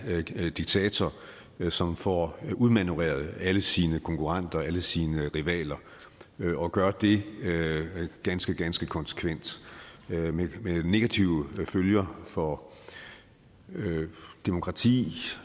diktator som får udmanøvreret alle sine konkurrenter alle sine rivaler og gør det ganske ganske konsekvent med negative følger for demokratiet